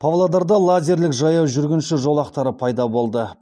павлодарда лазерлік жаяу жүргінші жолақтары пайда болды